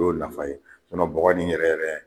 Y'o nafa ye bɔgɔ nin yɛrɛ yɛrɛ